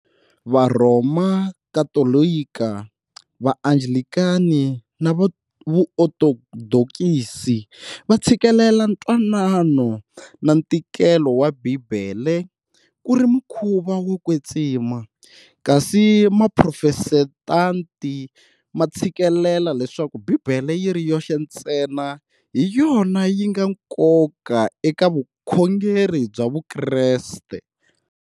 Varhoma Katolika, Va Anglikani na Va Vuotodoksi va tshikelela ku twanana na ntikelo wa Bibele ku ri mukhuva wo kwetsima, kasi Maphrotestanti ma tshikelela leswaku Bibele yiri yoxe ntsena hi yona yinga ya nkoka eka vukhoneri bya vukreste.